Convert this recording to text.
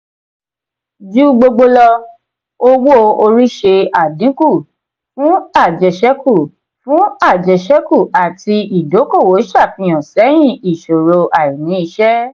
ju gbogbo lọ owó-orí ṣe adínkú fún ajeseku fún ajeseku ati ìdókòwò ṣàfihàn sẹyìn ìṣòro àìní iṣẹ.